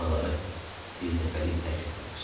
Buraları birdəfəlik tərk edirlər.